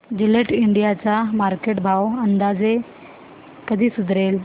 Gillette India चा market भाव अंदाजे कधी सुधारेल